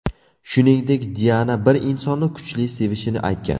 Shuningdek, Diana bir insonni kuchli sevishini aytgan.